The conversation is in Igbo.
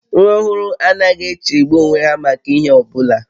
Nwa ọhụrụ anaghị echegbu onwe ha maka ihe ọbụla